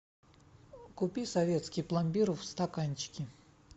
купи советский пломбир в стаканчике